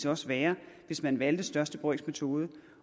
også være hvis man valgte største brøks metode